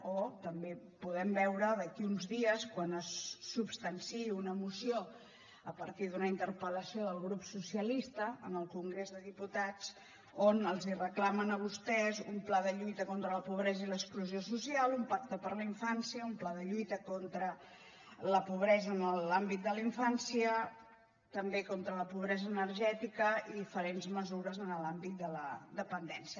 o també podrem veure d’aquí uns dies quan se substanciï una moció a partir d’una interpel·lació del grup socialista en el congrés dels diputats on els reclamen a vostès un pla de lluita contra la pobresa i l’exclusió social un pacte per la infància un pla de lluita contra la pobresa en l’àmbit de la infància també contra la pobresa energètica i diferents mesures en l’àmbit de la dependència